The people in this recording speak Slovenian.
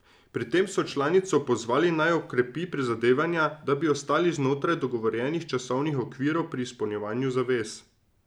Pri tem so članico pozvali, naj okrepi prizadevanja, da bi ostali znotraj dogovorjenih časovnih okvirov pri izpolnjevanju zavez.